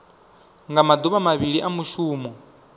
nga maduvha mavhili a mushumo